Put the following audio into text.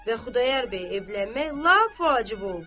Və Xudayar bəy evlənmək lap vacib oldu.